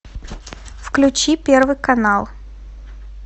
включи первый канал